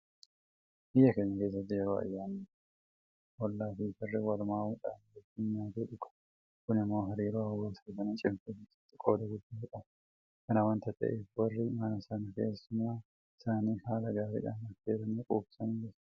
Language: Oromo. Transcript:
Biyya keenya keessatti yeroo ayyaanni wayii jiru hollaafi firri walwaamuudhaan wajjin nyaatee dhuga. Kun immoo hariiroo hawaasa sanaa cimsuu keessatti qooda guddaa qaba. Kana waanta ta'eef warri mana sanaa keessummaa isaanii haala gaariidhaan affeeranii quubsanii galchu.